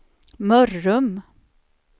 Mörrum